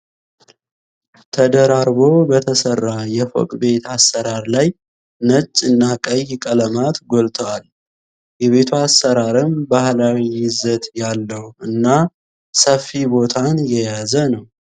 ተደራርቦ በተሰራ የፎቅ ቤት አሰራር ላይ ነጭ እና ቀይ ቀለማት ጎልተዋል። የቤቱ አሰራርም ባህላዊ ይዘት ያለው እና ሰፊ ቦታን የያዘ ነው።